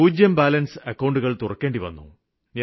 പൂജ്യം ബാലന്സില് അക്കൌണ്ടുകള് തുറക്കേണ്ടിവന്നു